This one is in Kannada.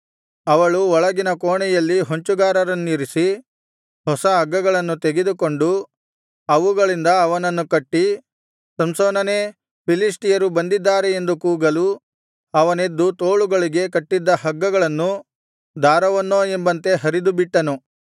ಅವಳು ಒಳಗಿನ ಕೋಣೆಯಲ್ಲಿ ಹೊಂಚುಗಾರರನ್ನಿರಿಸಿ ಹೊಸ ಹಗ್ಗಗಳನ್ನು ತೆಗೆದುಕೊಂಡು ಅವುಗಳಿಂದ ಅವನನ್ನು ಕಟ್ಟಿ ಸಂಸೋನನೇ ಫಿಲಿಷ್ಟಿಯರು ಬಂದಿದ್ದಾರೆ ಎಂದು ಕೂಗಲು ಅವನೆದ್ದು ತೋಳುಗಳಿಗೆ ಕಟ್ಟಿದ್ದ ಹಗ್ಗಗಳನ್ನು ದಾರವನ್ನೋ ಎಂಬಂತೆ ಹರಿದುಬಿಟ್ಟನು